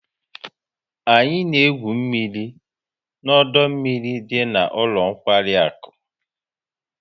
Anyị na-egwu mmiri na ọdọ mmiri dị na ụlọ nkwari akụ